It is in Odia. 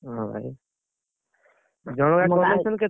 ହଁ ଭାଇ। ଆଉ ଜଣକା